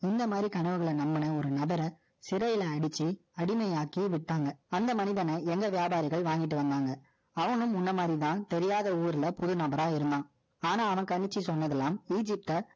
இந்த மாதிரி கனவுகளை நம்பின ஒரு நபரை, சிறையிலே அடைச்சு, அடிமையாக்கி விட்டாங்க. அந்த மனிதனை, எங்க வியாபாரிகள் வாங்கிட்டு வந்தாங்க. அவனும் முன்ன மாதிரிதான். தெரியாத ஊர்ல, புது நபரா இருந்தான். ஆனா, அவன் கணிச்சு சொன்னதெல்லாம்,